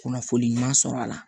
Kunnafoni ɲuman sɔrɔ a la